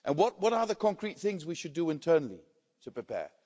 What are the concrete things we should do internally to prepare?